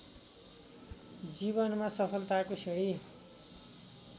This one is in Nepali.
जीवनमा सफलताको सिंढी